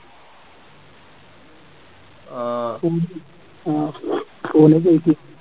ആഹ് കോഹ്ലി ജയിക്കും